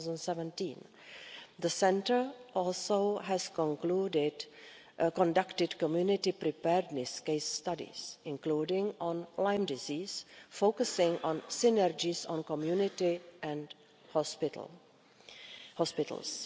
2017. The centre has also conducted community preparedness case studies, including on Lyme disease, focusing on synergies on community and hospitals.